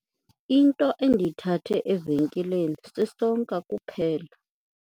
Into endiyithathe evenkileni sisonka kuphela.